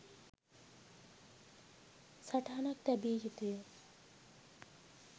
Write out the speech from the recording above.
සටහනක් තැබිය යුතුය